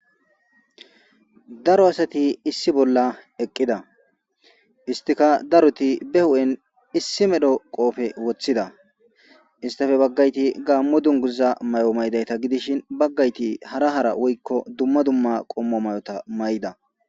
Daro asati issi bolla eqqida istika daroti be hu'en issi medho qoofe woththida istafe baggayti gaammo dunguza may'o maydayta gidishin baggayti hara hara woykko dumma dumma qommo may'ota may'da.